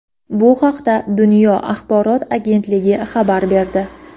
Bu haqda "Dunyo" axborot agentligi xabar berdi.